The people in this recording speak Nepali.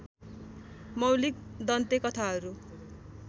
मौलिक दन्ते कथाहरू